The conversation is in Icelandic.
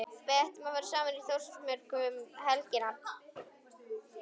Við ætlum saman í Þórsmörk um helgina.